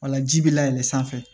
Walaji bɛ layɛlɛn sanfɛ